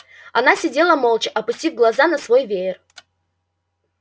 она сидела молча опустив глаза на свой веер